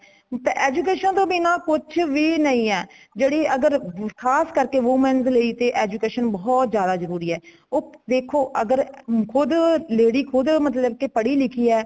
education ਤੋਂ ਬਿਨਾਂ ਕੁਛ ਵੀ ਨਹੀਂ ਹੈ ,ਜੇੜੀ ਅਗਰ ਖਾਸ ਕਰਕੇ women ਲਈ education ਬਹੁਤ ਜ਼ਿਆਦਾ ਜਰੂਰੀ ਹੈ ਉਹ ਦੇਖੋ ਅਗਰ ਖੁਦ੍ਹ lady ਖੁਦ੍ਹ ਮਤਲੱਬ ਕੇ ਪੜੀ ਲਿਖੀ ਹੈ।